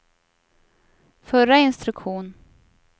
förra instruktion